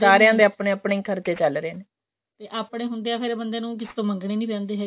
ਸਾਰਿਆ ਦੇ ਆਪਣੇ ਆਪਣੇ ਖਰਚੇ ਚਲ ਰਹੇ ਆਪਣੇ ਹੁੰਦਿਆ ਬੰਦੇ ਨੂੰ ਫੇਰ ਕਿਸੀ ਤੋਂ ਮੰਗਣੇ ਨਹੀਂ ਪੈਂਦੇ ਹੈਗੇ